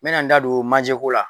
N bɛna n da don manjɛko la.